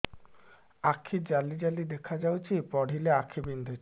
ଆଖି ଜାଲି ଜାଲି ଦେଖାଯାଉଛି ପଢିଲେ ଆଖି ବିନ୍ଧୁଛି